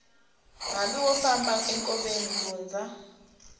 hambi wo famba enkoveni lundza